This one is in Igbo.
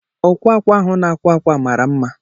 Ọkwaa akwa ahụ na-akwa ákwá mara mma.